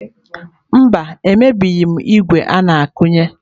Mba, emebighị m ígwè a na-akụnye.